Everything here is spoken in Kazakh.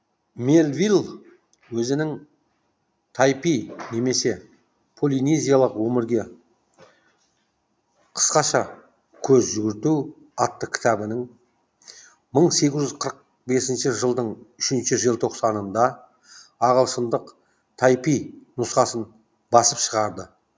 мелвилл өзінің тайпи немесе полинезиялық өмірге қысқаша көз жүгірту атты кітабының мың сегіз жүз қырық бесінші жылдың үшінші желтоқсанында ағылшындық тайпи нұсқасын басып шығарды